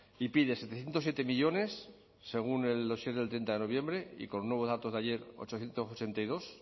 y pide setecientos siete millónes según el dossier del treinta de noviembre y con nuevos datos de ayer ochocientos ochenta y dos